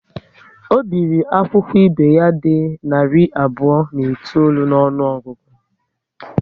Ọ biri akwụkwọ ibe ya dị narị abụọ na itoolu n'ọnụogugu